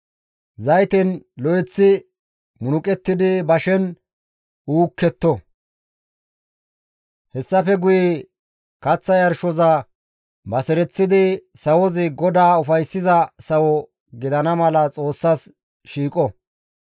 Zayten lo7eththi munuqettidi bashen uuketto. Hessafe guye kaththa yarshoza basereththidi sawozi GODAA ufayssiza sawo gidana mala Xoossas shiiqo.